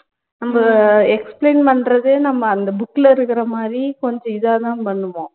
நம்ப explain பண்றதே நம்ம அந்த book ல இருக்குற மாதிரி கொஞ்சம் இதா தான் பண்ணுவோம்